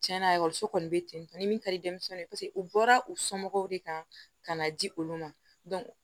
Tiɲɛna ekɔliso kɔni bɛ ten tɔ ni min ka di denmisɛnninw ye paseke u bɔra u somɔgɔw de kan ka na di olu ma